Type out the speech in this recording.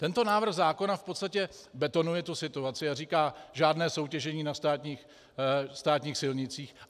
Tento návrh zákona v podstatě betonuje tuto situaci a říká: žádné soutěžení na státních silnicích.